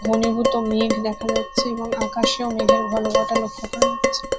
ঘনীভূত মেঘ দেখা যাচ্ছে এবং আকাশেও মেঘের ঘনঘটা লক্ষ্য করা যাচ্ছে।